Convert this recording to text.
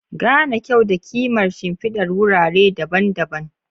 Gane kyau da kimar shimfidar wurare daban-daban.